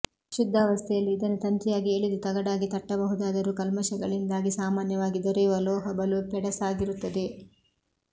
ಶುದ್ಧಾವಸ್ಥೆಯಲ್ಲಿ ಇದನ್ನು ತಂತಿಯಾಗಿ ಎಳೆದು ತಗಡಾಗಿ ತಟ್ಟಬಹುದಾದರೂ ಕಲ್ಮಷಗಳಿಂದಾಗಿ ಸಾಮಾನ್ಯವಾಗಿ ದೊರೆಯುವ ಲೋಹ ಬಲು ಪೆಡಸಾಗಿರುತ್ತದೆ